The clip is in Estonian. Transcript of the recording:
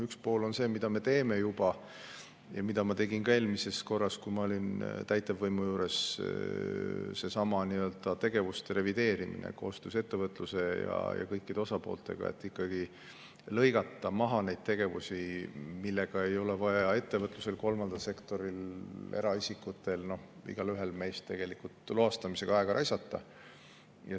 Üks pool on see, mida me teeme juba ja mida ma tegin ka eelmisel korral, kui ma olin täitevvõimu juures: seesama tegevuste revideerimine koostöös ettevõtluse ja kõikide osapooltega, et ikkagi lõigata maha neid tegevusi, näiteks loastamine, millele ei ole vaja ettevõtlusel, kolmandal sektoril, eraisikutel, tegelikult igaühel meist aega raisata.